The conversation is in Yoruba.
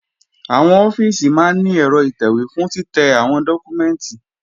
Àwọn ọ́fíìsì máa ní ẹ̀rọ ìtẹ̀wé fún títẹ́ àwọn dọ́kúmẹ́ǹtì